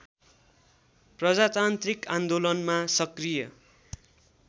प्रजातान्त्रिक आन्दोलनमा सक्रिय